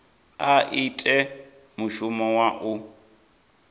a ite mushumo wa u